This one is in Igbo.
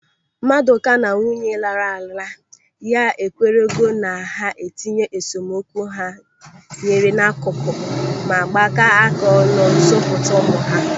Madụka na nwunye lara ala. ya ekwerego na ha itinye esemokwu ha nwere n'akụkụ ma gbaka aka ọnụ zụpụta ụmụ ha.